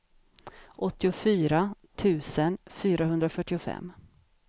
åttiofyra tusen fyrahundrafyrtiofem